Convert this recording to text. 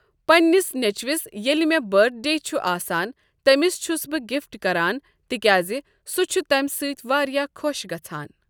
پننِس نچۍوِس ییٚلہِ مےٚ بٔرتھ ڈے چھُ آسان تٔمِس چھس بہٕ گفٹ کران تِکیاز سُہ چھُ تمہِ سۭتۍ واریاہ خۄش گژھان۔